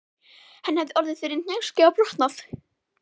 Þeim fannst að þetta jaðraði við sóun.